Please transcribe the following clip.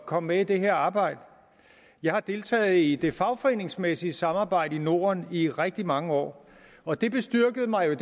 komme med i det her arbejde jeg har deltaget i det fagforeningsmæssige samarbejde i norden i rigtig mange år og det bestyrkede mig jo